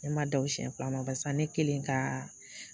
Ne ma da o siɲɛ fila ma barisa ne kelen kaa